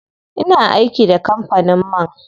Ina aiki da kampanin man.